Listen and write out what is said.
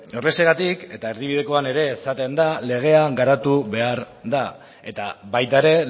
horrexegatik eta erdibidekoan ere esaten da legea garatu behar da eta baita ere